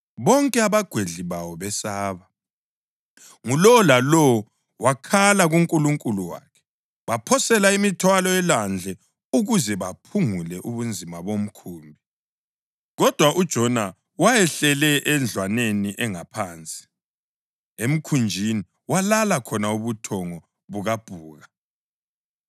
Bonke abagwedli bawo besaba, ngulowo lalowo wakhala kunkulunkulu wakhe. Baphosela imithwalo elwandle ukuze baphungule ubunzima bomkhumbi. Kodwa uJona wayehlele endlwaneni engaphansi, emkhunjini, walala khona ubuthongo bukabhuka.